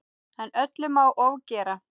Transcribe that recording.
En öllu má ofgera.